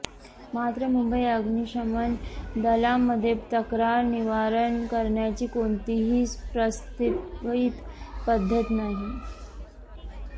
मात्र मुंबई अग्निशमन दलामध्ये तक्रार निवारण करण्याची कोणतीही प्रस्थापित पद्धत नाही